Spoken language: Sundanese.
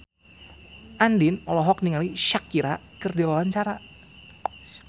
Andien olohok ningali Shakira keur diwawancara